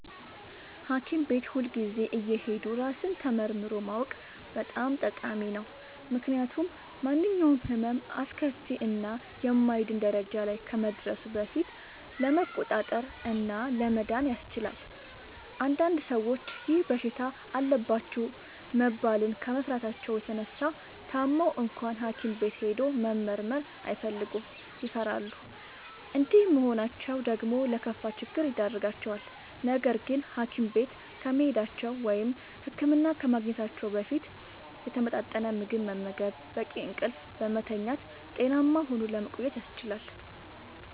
ሀኪም ቤት ሁልጊዜ እየሄዱ ራስን ተመርምሮ ማወቅ በጣም ጠቃሚ ነው። ምክንያቱም ማንኛውም ህመም አስከፊ እና የማይድን ደረጃ ላይ ከመድረሱ በፊት ለመቆጣጠር እና ለመዳን ያስችላል። አንዳንድ ሰዎች ይህ በሽታ አለባችሁ መባልን ከመፍራታቸው የተነሳ ታመው እንኳን ሀኪም ቤት ሄዶ መመርመር አይፈልጉም ይፈራሉ። እንዲህ መሆናቸው ደግሞ ለከፋ ችግር ይዳርጋቸዋል። ነገርግን ሀኪም ቤት ከመሄዳቸው(ህክምና ከማግኘታቸው) በፊት የተመጣጠነ ምግብ በመመገብ፣ በቂ እንቅልፍ በመተኛት ጤናማ ሆኖ ለመቆየት ያስችላል።